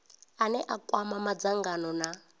ane a kwama madzangano na